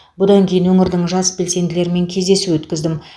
бұдан кейін өңірдің жас белсенділерімен кездесу өткіздім